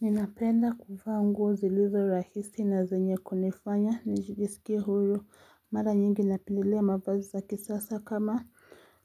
Ninapenda kuvaa nguo zilizo rahisi na zenye kunifanya nijisikie huru mara nyingi napendelea mavazi za kisasa kama